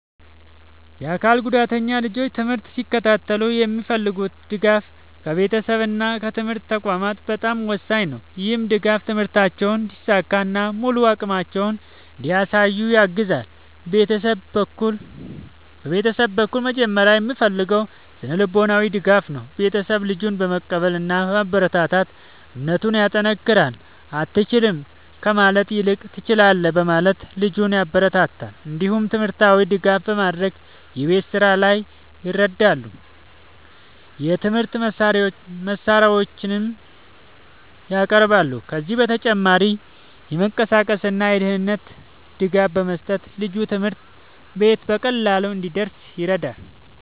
የአካል ጉዳተኛ ልጆች ትምህርት ሲከታተሉ የሚፈልጉት ድጋፍ ከቤተሰብ እና ከትምህርት ተቋማት በጣም ወሳኝ ነው። ይህ ድጋፍ ትምህርታቸውን እንዲሳካ እና ሙሉ አቅማቸውን እንዲያሳዩ ያግዛል። ቤተሰብ በኩል መጀመሪያ የሚፈለገው ስነ-ልቦናዊ ድጋፍ ነው። ቤተሰብ ልጁን በመቀበል እና በማበረታታት እምነቱን ያጠናክራል። “አትችልም” ከማለት ይልቅ “ትችላለህ” በማለት ልጁን ያበረታታል። እንዲሁም ትምህርታዊ ድጋፍ በማድረግ የቤት ስራ ላይ ይረዳሉ፣ የትምህርት መሳሪያዎችንም ያቀርባሉ። ከዚህ በተጨማሪ የመንቀሳቀስ እና የደህንነት ድጋፍ በመስጠት ልጁ ትምህርት ቤት በቀላሉ እንዲደርስ ይረዳሉ።